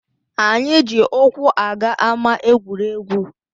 Anyị eji ụkwụ aga ámá egwuregwu